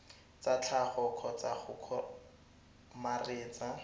tsa tlhago kgotsa go kgomaretsa